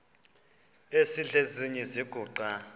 esidl eziny iziguqa